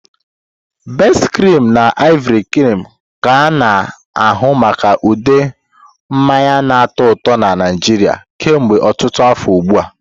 Best-cream na Ivory-cream ka a na-ahụ maka ude mmanya na-atọ ụtọ na Nigeria kemgbe ọtụtụ afọ ugbu a.